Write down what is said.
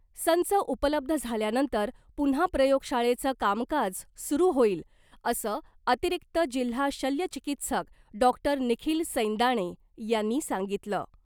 संच उपलब्ध झाल्यानंतर पुन्हा प्रयोगशाळेचं कामकाज सुरू होईल असं अतिरिक्त जिल्हा शल्य चिकित्सक डॉक्टर निखील सैंदाणे यांनी सांगितलं .